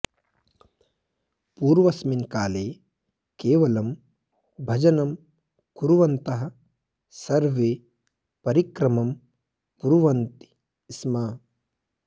पूर्वस्मिन् काले केवलं भजनं कुर्वन्तः सर्वे परिक्रमं कुर्वन्ति स्म